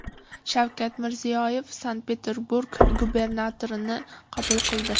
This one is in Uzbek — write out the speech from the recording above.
Shavkat Mirziyoyev Sankt-Peterburg gubernatorini qabul qildi .